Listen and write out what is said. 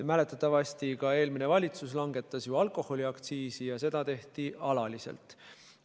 Mäletatavasti eelmine valitsus langetas ka alkoholiaktsiisi ja seda tehti alaliselt.